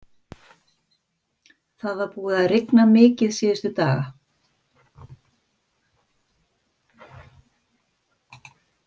Það var búið að rigna mikið síðustu daga.